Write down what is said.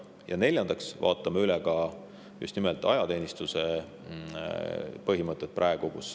Ja neljandaks vaatame me üle ajateenistuse põhimõtteid.